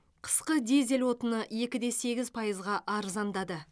қысқы дизель отыны екі де сегіз пайызға арзандады